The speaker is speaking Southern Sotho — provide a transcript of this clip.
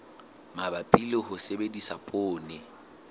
mabapi le ho sebedisa poone